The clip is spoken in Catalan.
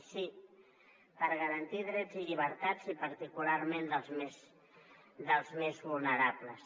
i sí per garantir drets i llibertats i particularment dels més vulnerables